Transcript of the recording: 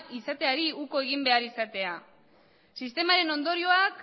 izateari uko egin behar izatea sistemaren ondorioak